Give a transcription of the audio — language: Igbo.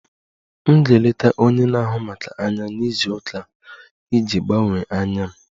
M ga-eleta onye na-ahụ maka anya na izu ụka a iji gbanwee anya m